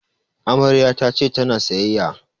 Amaryar ta ce ta na sayayya